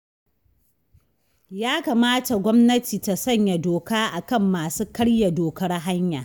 Ya kamata gwamnati ta sanya doka a kan masu karya dokar hanya